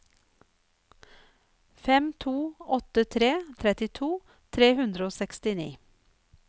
fem to åtte tre trettito tre hundre og sekstini